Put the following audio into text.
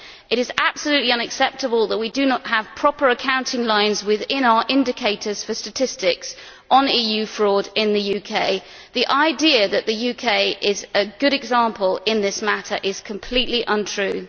It is absolutely unacceptable that we do not have proper accounting lines within our indicators for statistics on EU fraud in the UK. The idea that the UK is a good example in this matter is completely untrue.